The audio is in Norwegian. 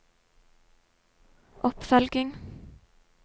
oppfølging